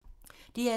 DR2